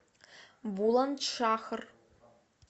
буландшахр